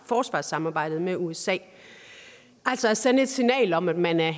forsvarssamarbejdet med usa altså at sende et signal om at man er